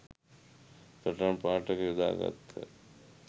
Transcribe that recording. සටන්පාඨය යොදා ගත්හ